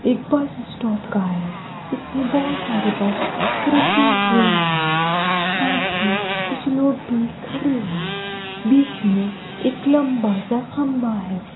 एक bus stop का है इसमें बहोत सारे बस रुके हुए हैं साथ ही कुछ लोग भी खड़े हैं बीच में एक लंबा सा खंभा है।